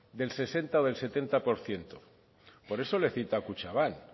del sesenta o del setenta por ciento por eso le cita a kutxabank